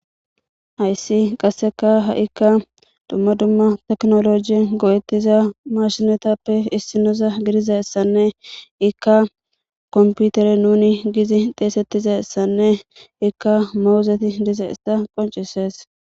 Hayssi qasseka ha'ikka dumma dumma teknoloji go7ettiza mashinotappe issinoza gidiza essanne ikka komputere nuni gizi deesettiza essanne ikka mowuzeti diza issa qoncisees.